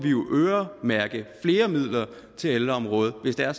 øremærke flere midler til ældreområdet hvis det er